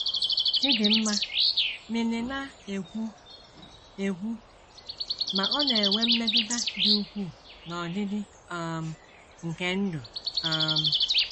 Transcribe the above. Chidinma Mili na - ekwu, ekwu, “ ma ọ na - enwe mmetụta dị ukwuu n’ọdịdị um nke ndụ um. ”